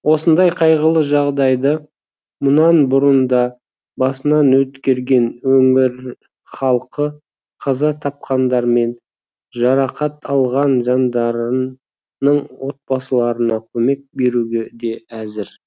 осындай қайғылы жағдайды мұнан бұрын да басынан өткерген өңір халқы қаза тапқандар мен жарақат алған жандардың отбасыларына көмек беруге де әзір